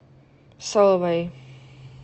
соловэй